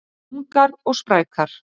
Ungar og sprækar